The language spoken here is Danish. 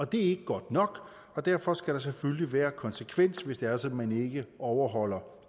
det er ikke godt nok og derfor skal der selvfølgelig være konsekvens hvis det er sådan at man ikke overholder